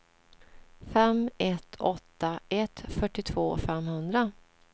fem ett åtta ett fyrtiotvå femhundra